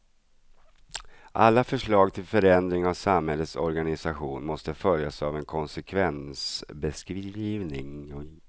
Alla förslag till förändring av samhällets organisation måste följas av en konsekvensbeskrivning.